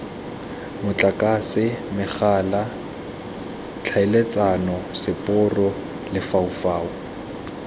motlakase megala tlhaeletsano seporo lefaufau